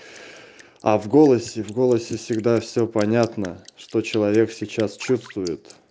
а в голосе в голосе всегда всё понятно что человек сейчас чувствует